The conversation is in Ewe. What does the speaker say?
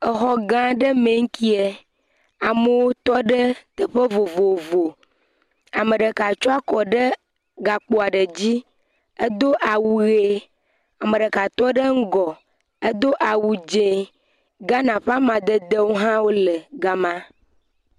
Exɔ gã aɖe me nkie, amewo tɔ ɖe teƒe vovovo, ame ɖeka tsyɔ akɔ gakpo aɖe dzi, edo awu ʋe, ame ɖeka tɔ ɖe ŋgɔ edo awu dzee, Ghana ƒe amadedewo hã le gama.